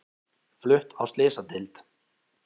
Flutt á slysadeild